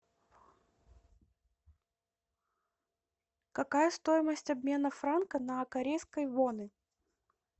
какая стоимость обмена франка на корейские воны